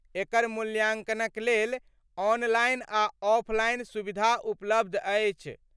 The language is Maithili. एकर मूल्यांकनक लेल ऑनलाइन आ ऑफलाइन सुविधा उपलब्ध अछि।